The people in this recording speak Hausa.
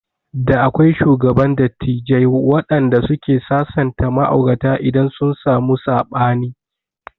Da akwai shugaban dattijai wanɗanda suke sasanta ma'aurata idan sun samu saɓani